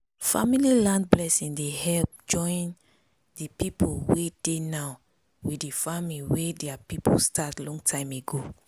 family land blessing dey help join the people wey dey now with the farming way their people start long time ago.